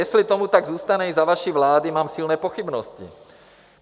Jestli tomu tak zůstane i za vaší vlády, mám silné pochybnosti.